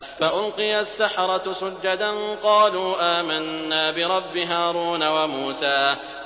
فَأُلْقِيَ السَّحَرَةُ سُجَّدًا قَالُوا آمَنَّا بِرَبِّ هَارُونَ وَمُوسَىٰ